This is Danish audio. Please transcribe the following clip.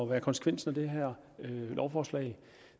være konsekvensen af det her lovforslag ja